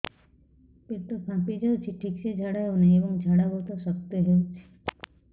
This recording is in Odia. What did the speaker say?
ପେଟ ଫାମ୍ପି ଯାଉଛି ଠିକ ସେ ଝାଡା ହେଉନାହିଁ ଏବଂ ଝାଡା ବହୁତ ଶକ୍ତ ହେଉଛି